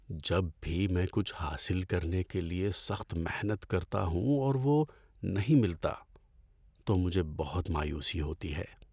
جب بھی میں کچھ حاصل کرنے کے لیے سخت محنت کرتا ہوں اور وہ نہیں ملتا تو مجھے بہت مایوسی ہوتی ہے۔